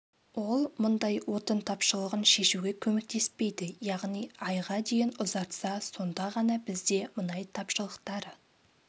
ол мұндай отын тапшылығын шешуге көмектеспейді яғни айға дейін ұзартса сонда ғана бізде мұнай тапшылықтары